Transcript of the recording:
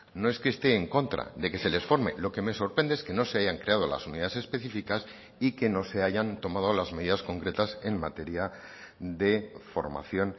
no es que esté en contra de que se les forme lo que me sorprende es que no se hayan creado las unidades específicas y que no se hayan tomado las medidas concretas en materia de formación